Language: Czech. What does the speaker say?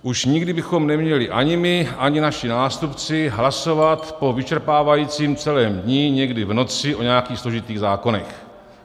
Už nikdy bychom neměli ani my, ani naši nástupci hlasovat po vyčerpávajícím celém dni někdy v noci o nějakých složitých zákonech.